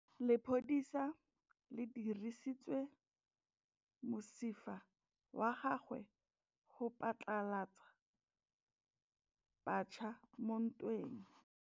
Lepodisa le dirisitse mosifa wa gagwe go phatlalatsa batšha mo ntweng.